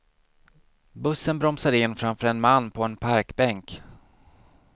Bussen bromsar in framför en man på en parkbänk.